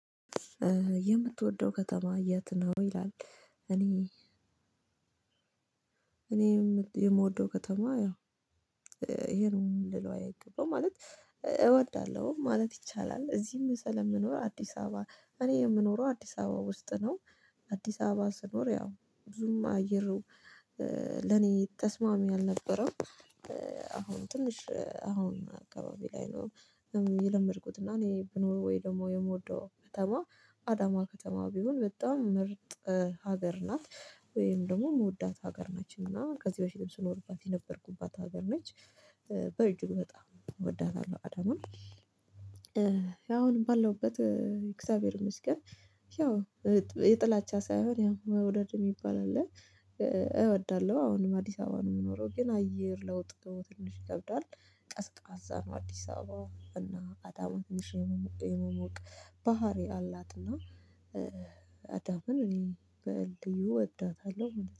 የምትወደው ከተማ የት ነው ይላል? እኔ እኔ የምወደው ከተማ ያው ይሄ ነውም ልለው አይገባም ማለት እወዳለሁ ማለት ይቻላል። እዚህም ስለምኖር አዲስ አበባ እኔ የምኖረው አዲስ አበባ ውስጥ ነው። አዲስ አበባ ስኖር ያው ብዙም አየሩ ለኔ ተስማሚ አልነበረም። አሁን ትንሽ አሁን አካባቢ ላይ ነው። የለምድኩት እና እኔ ብኖር ወይ ደግሞ የምወደው ከተማ አዳማ ከተማ ቢሆን በጣም ምርጥ። ሀገር ናት። ወይም ደግሞ የምወዳት ሀገር ነች እና ከዚህ በፊትም ስኖርባት የነበርኩባት ሀገር ነች። እጅግ በጣም እወዳታለሁ አዳማን። አሁንም ባለሁበት እግዚአብሔር ይመስገን። ያው የጥላቻ ሳይሆን ያው መውደድ የሚባል አለ። እወዳለሁ አሁንም አዲስ አበባ ነው የምኖረው ግን አየር ለውጥ ትንሽ ይከብዳል። ቀዝቃዛ ነው አዲስ አበባ እና አዳማ ትንሽ የመሞ የመሞቅ ባህሪ አላት። እና አዳማን እኔ በልዩ እወዳታለሁ